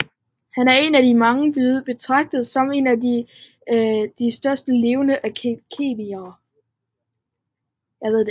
Han er af mange blevet betragtet som en af de største levende kemikere